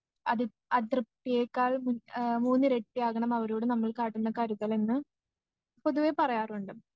അതി അതൃപ്തിയേക്കാൾ ആ അവരോട് നമ്മൾ കാട്ടുന്ന കരുതലെന്ന് പൊതുവെ പറയാറുണ്ട്